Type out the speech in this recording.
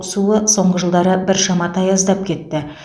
суы соңғы жылдары біршама таяздап кетті